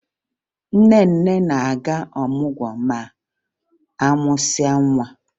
Nne nne na-aga ọmụgwọ ma a mụsịa nwa